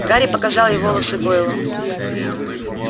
гарри показал ей волосы гойла